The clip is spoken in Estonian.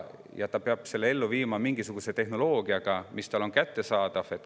Ja ta peab selle ellu viima mingisuguse tehnoloogia abil, mis on talle kättesaadav.